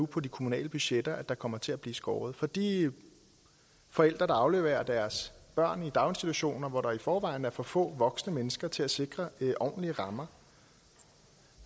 på de kommunale budgetter at der kommer til at blive skåret ned for de forældre der afleverer deres børn i daginstitutioner hvor der i forvejen er for få voksne mennesker til at sikre ordentlige rammer